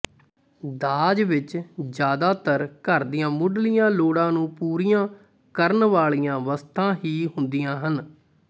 ਦਾਜ ਵਿਚ ਜ਼ਿਆਦਾਤਰ ਘਰ ਦੀਆਂ ਮੁੱਢਲੀਆਂ ਲੋੜਾਂ ਨੂੰ ਪੂਰੀਆਂ ਕਰਨ ਵਾਲੀਆਂ ਵਸਤਾਂ ਹੀ ਹੁੰਦੀਆਂ ਹਨ